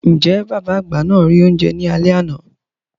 Ǹjẹ́ bàbá àgbà náà rí oúnjẹ ní alé àná?